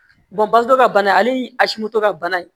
basɔn ka bana ale ni a si moto ka bana in